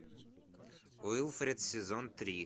уилфред сезон три